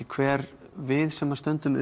hver við sem stöndum